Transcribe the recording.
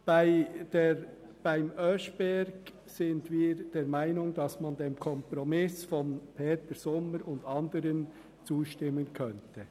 Beim Oeschberg sind wir der Meinung, dass wir dem Kompromiss von Grossrat Sommer und anderen zustimmen könnten.